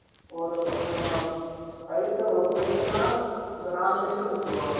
ஒரு நம்ம fighter ஒரு fighter நா இப்ப நாலு fighter னு வச்சிகோ